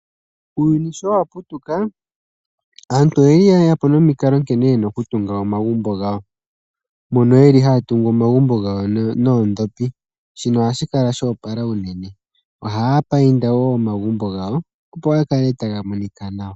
Uuyuni nkene wa putuka, aantu oyendji oye ya po nomikalo nkene ye na oku tunga omagumbo gawo. Mbono ye li haa tungu omagumbo gawo noondhopi. Shino oha shi kala sho opala unene. Ohaa painda wo omagumbo gawo, opo ga kale taga monika nawa.